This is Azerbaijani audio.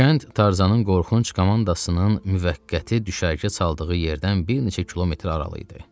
Kənd Tarzanın qorxunc komandasının müvəqqəti düşərgə çaldığı yerdən bir neçə kilometr aralı idi.